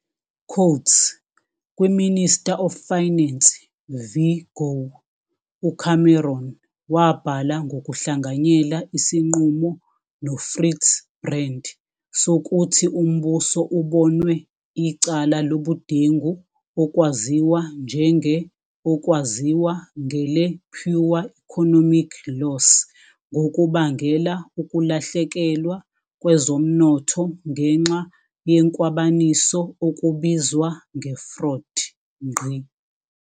"Kwi-Minister of Finance v Gore", uCameron wabhala ngokuhlanganyela isinqumo noFritz Brand sokuthi umbuso ubonwe icala lobudengu okwaziwa njenge-okwaziwa ngele-pure economic loss ngokubangela ukulahlekelwa kwezomnotho ngenxya yenkwabaniso okubizwa nge-fraud.